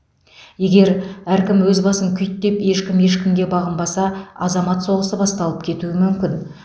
егер әркім өз басын күйттеп ешкім ешкімге бағынбаса азамат соғысы басталып кетуі мүмкін